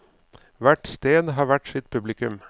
Hvert sted har hvert sitt publikum.